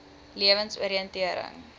lewensoriëntering